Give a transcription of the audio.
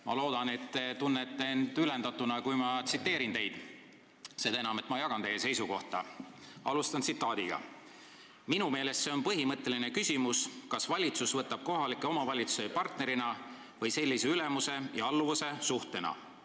Ma loodan, et te tunnete end ülendatuna, kui ma teid tsiteerin : "Minu meelest see on põhimõtteline küsimus, kas valitsus võtab kohalikke omavalitsusi partnerina või sellise ülemuse ja alluvuse suhtena.